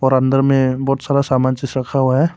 और अंदर में बहुत सारा सामान चीज रखा हुआ है।